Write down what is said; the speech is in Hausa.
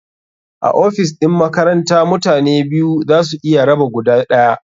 A ofis ɗin makaranta mutane biyu za su iya raba guda ɗaya.